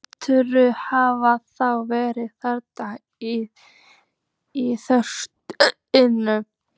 Gerður hafði þá verið þarna í þrönginni.